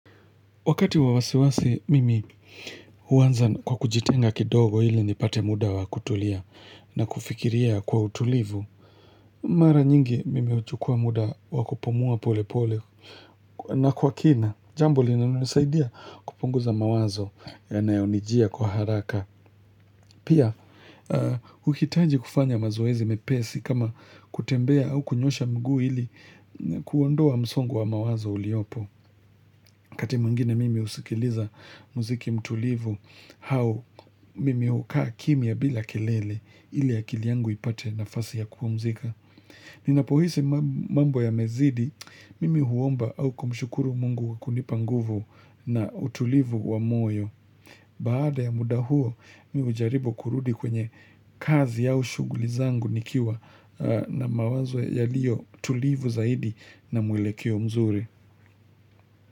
Wakati wa wasiwasi, mimi huanza kwa kujitenga kidogo ili nipate muda wa kutulia na kufikiria kwa utulivu. Mara nyingi mimi huchukua muda wa kupumuwa polepole na kwa kina. Jamb linanisaidia kupunguza mawazo yanayonijia kwa haraka. Pia, huhitaji kufanya mazoezi mepesi kama kutembea au kunyosha miguu ili kuondoa msongo wa mawazo uliopo. Wakati mwingine mimi husikiliza muziki mtulivu, au mimi hukaa kimia bila kelele ili akili yangu ipate nafasi ya kupumzika. Ninapohisi mambo ya mezidi, mimi huomba au kumshukuru mungu kwa kunipa nguvu na utulivu wa moyo. Baada ya muda huo, mimi hujaribu kurudi kwenye kazi au shughuli zangu nikiwa na mawazo yaliyotulivu zaidi na mwelekeo mzuri.